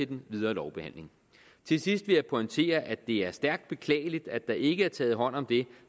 den videre lovbehandling til sidst vil jeg pointere at det er stærkt beklageligt at der ikke er taget hånd om det